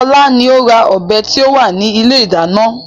Ọlá ni ó ra ọ̀bẹ tí ó wà ní ilé ìdáná.